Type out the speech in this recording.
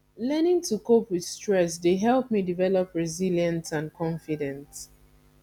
learning to cope with stress dey help me develop resilience and confidence